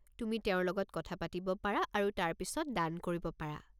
তুমি তেওঁৰ লগত কথা পাতিব পাৰা আৰু তাৰ পিছত দান কৰিব পাৰা।